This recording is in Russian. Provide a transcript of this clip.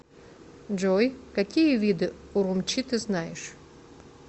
джой какие виды урумчи ты знаешь